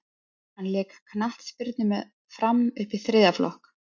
hann lék knattspyrnu með fram upp í þriðja flokk